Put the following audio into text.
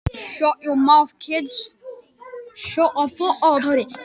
Margrét: En það er leikfimi hér.